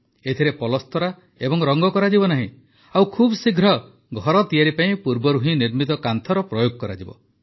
ଏଥିରେ ପଲସ୍ତରା ଏବଂ ରଙ୍ଗ କରାଯିବ ନାହିଁ ଓ ଖୁବଶୀଘ୍ର ଘର ତିଆରି ପାଇଁ ପୂର୍ବରୁ ହିଁ ନିର୍ମିତ କାନ୍ଥର ପ୍ରୟୋଗ କରାଯିବ